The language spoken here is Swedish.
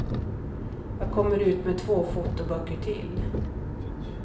Jag kommer ut med två fotoböcker till.